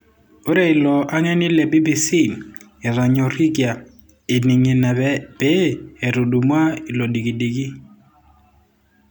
Ore ilo angeni le BBC etonyorikia:ening ina pee etudumua olodikidiki.